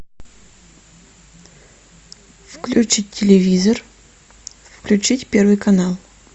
включить телевизор включить первый канал